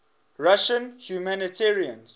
russian humanitarians